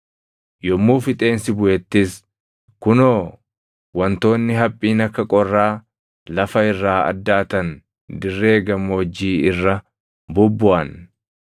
Yommuu fixeensi buʼettis, kunoo wantoonni haphiin akka qorraa lafa irraa addaatan dirree gammoojjii irra bubbuʼan.